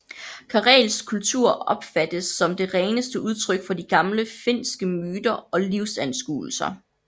Karelsk kultur opfattes som det reneste udtryk for de gamle finske myter og livsanskuelser